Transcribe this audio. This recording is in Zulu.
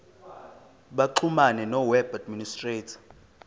baxhumane noweb administrator